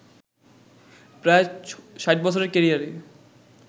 প্রায় ৬০ বছরের ক্যারিয়ারে